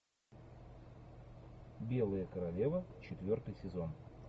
белая королева четвертый сезон